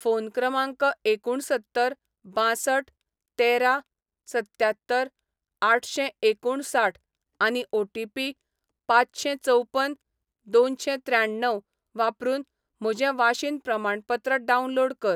phone क्रमांक एकुणसत्तर बांसठ तेरा सत्त्यात्तर आठशेंएकुणसाठ आनी ओ.टी.पी पांचशेंचवपन दोनशेंत्र्याण्णव वापरून म्हजें वाशीन प्रमाणपत्र डावनलोड कर